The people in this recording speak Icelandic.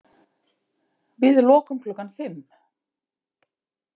Við lokum klukkan fimm.